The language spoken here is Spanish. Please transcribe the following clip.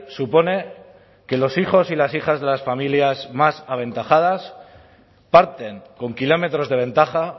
supone que los hijos y las hijas de las familias más aventajadas parten con kilómetros de ventaja